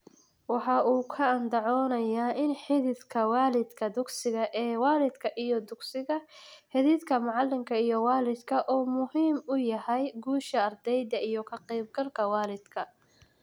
Waxa uu ku andacoonayaa in xidhiidhka waalidka-dugsiga ee waalidka iyo dugsiga, xidhiidhka macalinka/waalidku uu muhiim u yahay guusha ardayda iyo ka qaybgalka waalidka.